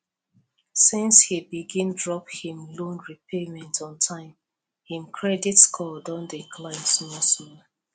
since he begin drop him loan repayment on time him credit score don dey climb small small